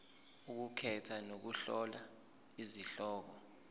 ukukhetha nokuhlola izihloko